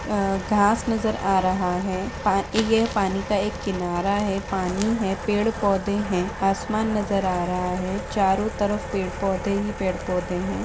अ घास नज़र आ रहा है पा ये पानी का एक किनारा है पानी है पेड़-पौधे है आसमान नज़र आ रहा है चारो तरफ पेड़ पौधे ही पेड़ पौधे हैं।